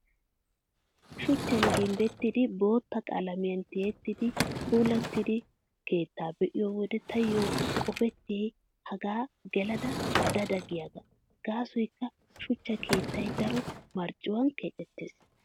Shuchchan gimbbettidi bootta qalamiyaa tiyettidi puulattida keettaa be'iyo wode taayyo qopettiyay hegan gelada da da giyaagaa. Gaasoykka, shuchcha keettay daro marccuwaan keexettees.